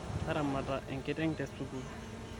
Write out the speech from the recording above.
taramata ekiteng tesukul